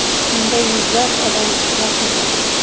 Unda yuzlab odam ishtirok etdi.